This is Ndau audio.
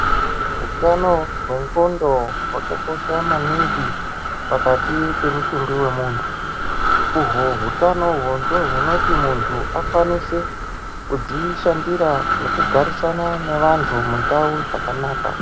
Utano wengondo hwakakosha maningi pakati pemutumbi wemuntu uhwo utanohwo ndihwo hunoti muntu akwanise kudzishandira nekugarisana nevantu mundau zvakanaka.